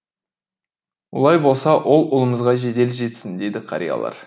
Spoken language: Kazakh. олай болса ол ұлымызға жедел жетсін деді қариялар